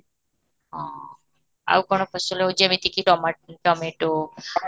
ହଁ, ଆଉ କ'ଣ ଫସଲ ଯେମିତି କି tomato